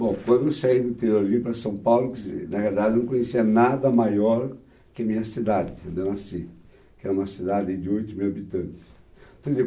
Bom, quando eu saí do interior e vim para São Paulo, quer dizer, na verdade, eu não conhecia nada maior que a minha cidade, onde eu nasci, que era uma cidade aí de oito mil habitantes.